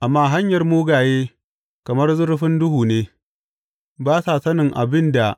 Amma hanyar mugaye kamar zurfin duhu ne; ba sa sanin abin da